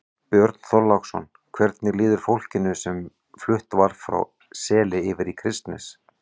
Björn Þorláksson: Hvernig líður fólkinu sem flutt var frá Seli yfir í Kristnes?